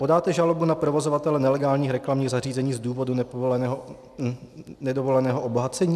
Podáte žalobu na provozovatele nelegálních reklamních zařízení z důvodu nedovoleného obohacení?